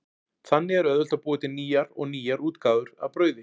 Þannig er auðvelt að búa til nýjar og nýjar útgáfur af brauði.